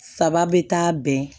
Saba bɛ taa bɛn